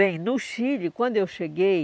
Bem, no Chile, quando eu cheguei,